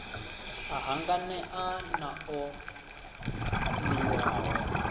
a hanganea na o niwaho